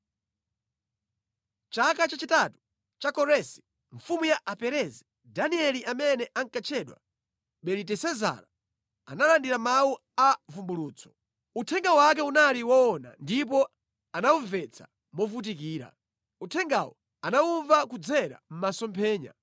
Chaka chachitatu cha Koresi mfumu ya Aperezi, Danieli amene ankatchedwa Belitesezara analandira mawu a vumbulutso. Uthenga wake unali woona ndipo anawumvetsa movutikira. Uthengawu anawumva kudzera mʼmasomphenya.